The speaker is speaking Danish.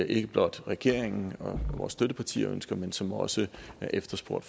ikke blot regeringen og vores støttepartier ønsker men som også er efterspurgt